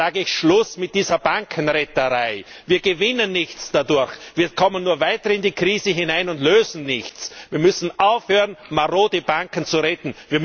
Daher sage ich Schluss mit dieser Bankenretterei! Wir gewinnen nichts dadurch, wir kommen nur weiter in die Krise hinein und lösen nichts. Wir müssen aufhören, marode Banken zu retten.